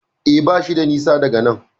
E, bashi da nisa daga nan.